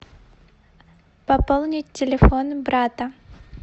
пополнить телефон брата